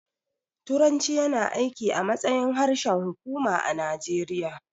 Turanci yana aiki a matsayin harshen hukuma a Najeriya